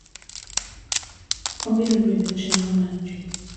Obiro bedo chenro mar ji.